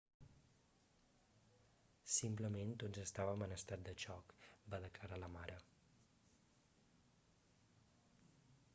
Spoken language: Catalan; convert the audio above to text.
simplement tots estàvem en estat de xoc va declarar la mare